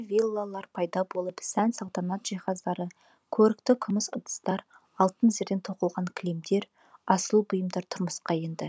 виллалар пайда болып сән салтанат жиһаздары көрікті күміс ыдыстар алтын зерден тоқылған кілемдер асыл бұйымдар тұрмысқа енді